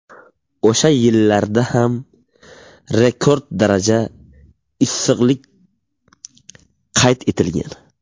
O‘sha yillarda ham rekord daraja issiqlik qayd etilgan.